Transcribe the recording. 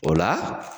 O la